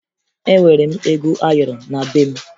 Enwere m ego ayọrọ na be m